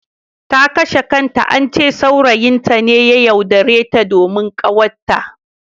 Ta kashe kanta, ance saurayin ta ne ya yaudare ta domin ƙawatta.